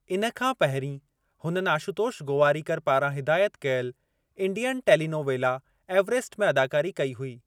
इन खां पहिरीं, हुननि आशुतोष गोवारिकर पारां हिदायत कयलु इंडियन टेलीनोवेला एवरेस्ट में अदाकारी कई हुई।